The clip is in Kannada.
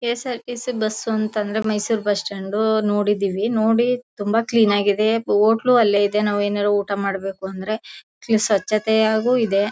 ಕೆ.ಎಸ್.ಆರ್.ಟಿ. ಸಿ. ಬಸ್ ಸ್ಟಾಂಡ್ ಅಂತ ಅಂದ್ರೆ ಮೈಸೂರ್ ಬಸ್ ಸ್ಟಾಂಡ್ ನೋಡಿದೀವಿ ತುಂಬ ಕ್ಲೀನ್ ಆಗಿದೆ. ಹೋಟೆಲು ಅಲ್ಲೇ ಇದೆ ನಾವು ಏನಾದ್ರು ಊಟ ಮಾಡಬೇಕೆಂದ್ರೆ ಸ್ವಚ್ಛತೆಯಾಗು ಇದೆ.